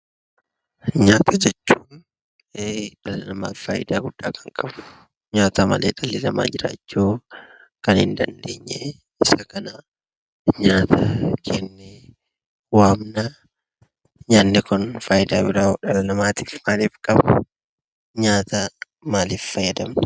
Nyaata jechuun dhala namaaf faayidaa guddaa kan qabu, nyaata malee dhalli namaa jiraachuu kan hin dandeenye, isa kana nyaata jennee waamna. Nyaanni kun faayidaa biroo dhala namaatiif maal qaba? Nyaata maaliif fayyadamna?